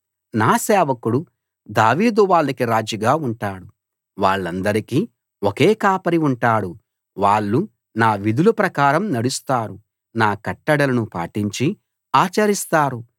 నా సేవకుడు దావీదు వాళ్ళకి రాజుగా ఉంటాడు వాళ్ళందరికీ ఒకే ఒక కాపరి ఉంటాడు వాళ్ళు నా విధుల ప్రకారం నడుస్తారు నా కట్టడలను పాటించి ఆచరిస్తారు